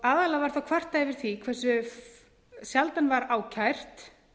aðallega var kvartað yfir því hversu sjaldan var ákært